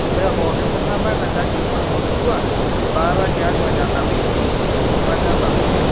mee pooki tung'anak tenkaji oing'orutua baata tiatua nena wikii ong'wan nelau